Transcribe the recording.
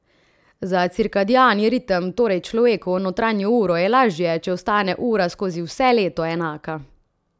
Za cirkadiani ritem, torej človekovo notranjo uro, je lažje, če ostane ura skozi vse leto enaka.